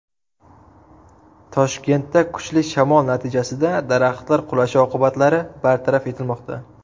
Toshkentda kuchli shamol natijasida daraxtlar qulashi oqibatlari bartaraf etilmoqda.